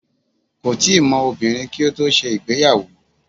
Kò tíì mọ obìnrin kí ó tó ṣe ìgbéyàwó.